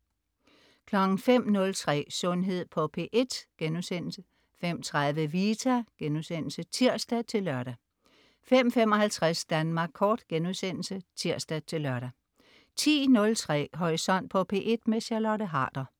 05.03 Sundhed på P1* 05.30 Vita* (tirs-lør) 05.55 Danmark Kort* (tirs-lør) 10.03 Horisont på P1. Charlotte Harder